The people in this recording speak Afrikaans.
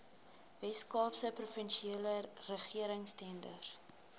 weskaapse provinsiale regeringstenders